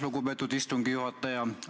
Lugupeetud istungi juhataja!